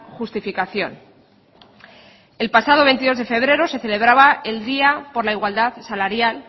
justificación el pasado veintidós de febrero se celebraba el día por la igualdad salarial